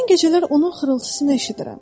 Mən gecələr onun xırıltısını eşidirəm.